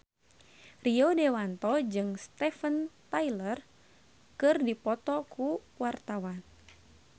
Rio Dewanto jeung Steven Tyler keur dipoto ku wartawan